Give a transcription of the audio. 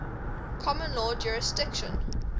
common law jurisdiction